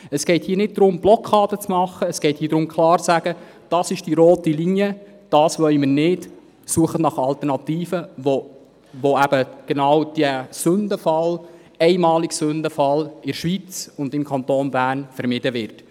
Es geht nicht darum, eine Blockade zu erstellen, sondern darum, klar zu sagen, dies hier sei die rote Linie, dies wolle man nicht und dass nach Alternativen gesucht werden soll, damit dieser einmalige Sündenfall im Kanton Bern und in der Schweiz vermieden werden.